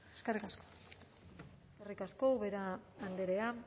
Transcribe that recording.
eskerrik asko ubera andrea